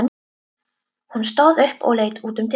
Hún stóð upp og leit út um dyrnar.